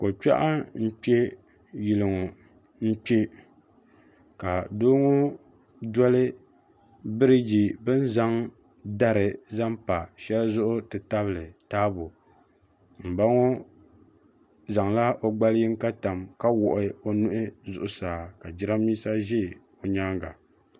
Ko'kpɛɣu n-kpe yili ŋɔ n-kpe ka doo ŋɔ doli biriigi bɛ ni zaŋ dari zaŋ pa shɛli zuɣu ti tabili taabo m ba ŋɔ zaŋla o gbali yiŋga tam ka wuɣi o nuhi zuɣusaa ka jirambiisa ʒi o nyaaŋa.